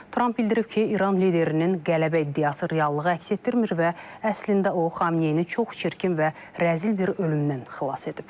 Tramp bildirib ki, İran liderinin qələbə iddiası reallığı əks etdirmir və əslində o Xamneyi çox çirkin və rəzil bir ölümdən xilas edib.